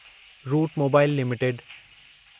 route Mobile limited